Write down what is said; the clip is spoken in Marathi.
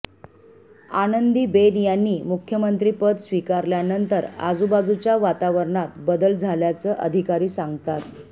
आनंदीबेन यांनी मुख्यमंत्रिपद स्वीकारल्यानंतर आजूबाजूच्या वातावरणात बदल झाल्याचं अधिकारी सांगतात